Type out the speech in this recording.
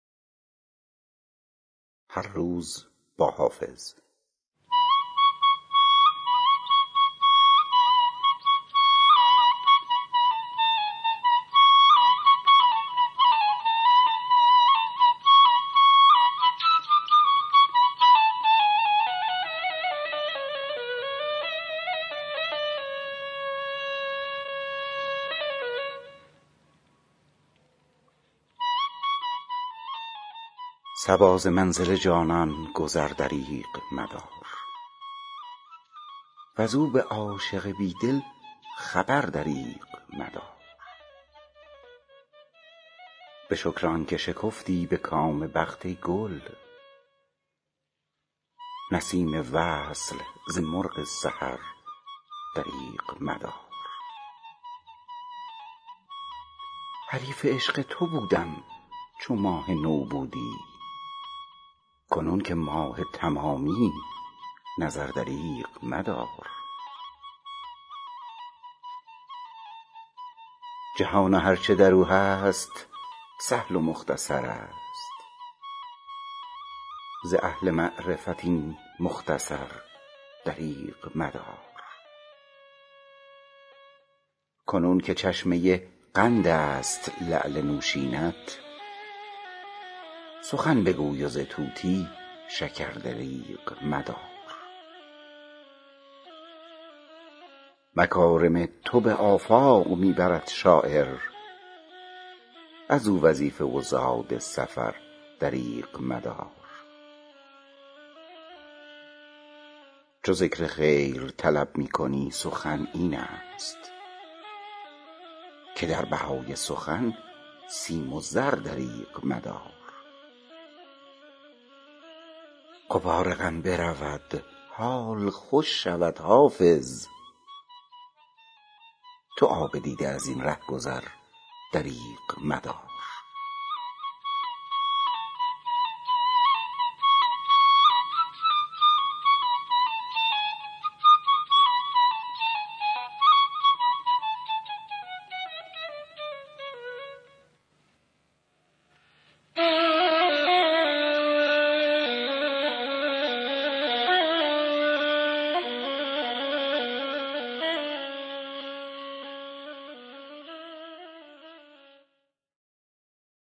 صبا ز منزل جانان گذر دریغ مدار وز او به عاشق بی دل خبر دریغ مدار به شکر آن که شکفتی به کام بخت ای گل نسیم وصل ز مرغ سحر دریغ مدار حریف عشق تو بودم چو ماه نو بودی کنون که ماه تمامی نظر دریغ مدار جهان و هر چه در او هست سهل و مختصر است ز اهل معرفت این مختصر دریغ مدار کنون که چشمه قند است لعل نوشین ات سخن بگوی و ز طوطی شکر دریغ مدار مکارم تو به آفاق می برد شاعر از او وظیفه و زاد سفر دریغ مدار چو ذکر خیر طلب می کنی سخن این است که در بهای سخن سیم و زر دریغ مدار غبار غم برود حال خوش شود حافظ تو آب دیده از این ره گذر دریغ مدار